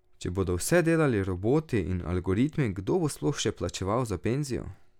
Če bodo vse delali roboti in algoritmi, kdo bo sploh še plačeval za penzijo?